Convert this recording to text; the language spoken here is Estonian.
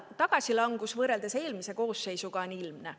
Tagasilangus võrreldes eelmise koosseisuga on ilmne.